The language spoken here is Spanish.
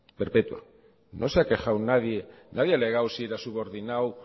perpetua no se ha quejado nadie nadie ha alegado si era subordinado